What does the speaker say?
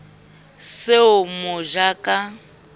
se o mo ja ka